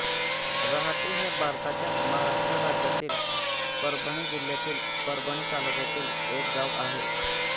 रहाटी हे भारताच्या महाराष्ट्र राज्यातील परभणी जिल्ह्यातील परभणी तालुक्यातील एक गाव आहे